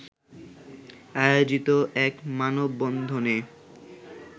আয়োজিত এক মানববন্ধনে